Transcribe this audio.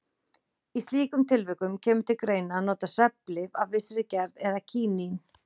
Í slíkum tilvikum kemur til greina að nota svefnlyf af vissri gerð eða kínín.